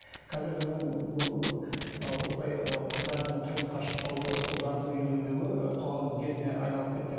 қазір біздің бұл ы осылай ы қыздардың тұрмысқа шықпауы ұлдардың үйленбеуі ы қоғамның дертіне айналып кетті